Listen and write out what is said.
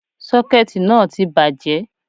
Sọ́kẹ̀tì náà tí bàjẹ́